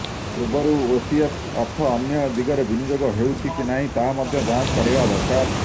ପୂର୍ବରୁ ଓସିଏଫ୍ ଅର୍ଥ ଅନ୍ୟ ଦିଗରେ ବିନିଯୋଗ ହୋଇଛି କି ନାହିଁ ତାହା ମଧ୍ୟ ଯାଞ୍ଚ କରିବା ଦରକାର